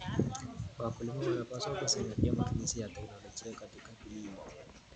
Wakulima wanapaswa kuzingatia matumizi ya teknolojia katika kilimo.